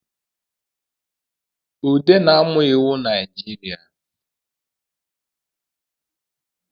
Ude na-amụ iwu Najirịa